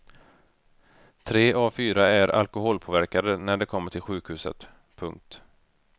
Tre av fyra är alkoholpåverkade när de kommer till sjukhuset. punkt